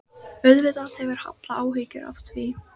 Auðvitað hefur Halla áhyggjur af því að